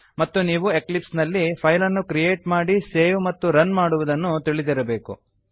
ಮತ್ತು ನೀವು ಎಕ್ಲಿಪ್ಸ್ ನಲ್ಲಿ ಫೈಲನ್ನು ಕ್ರಿಯೇಟ್ ಮಾಡಿ ಸೇವ್ ಮತ್ತು ರನ್ ಮಾಡುವುದನ್ನು ತಿಳಿದಿರಬೇಕು